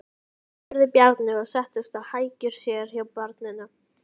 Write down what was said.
spurði Bjarni og settist á hækjur sér hjá barninu.